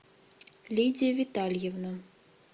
лидия витальевна